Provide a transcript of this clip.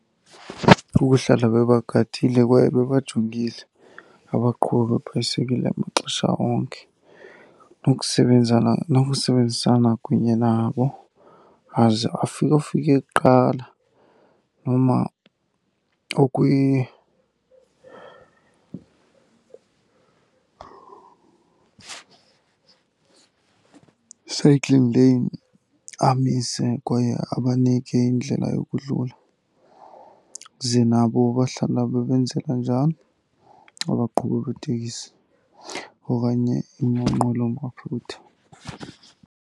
Kukuhlala bebagadile kwaye bebajongile abaqhubi beebhayisekile maxesha onke nokusebenzana, nokusebenzisana kunye nabo. Aze afike ofike kuqala noma cycling lane amise kwaye abanike indlela yokudlula, ze nabo bahlala bebenzela njalo abaqhubi beetekisi okanye iinqwelomafutha.